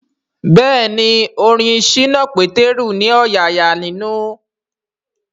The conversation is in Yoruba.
Bẹ́ẹ̀ni orin ṣínà Pétérù ní ọ̀yààyà ninu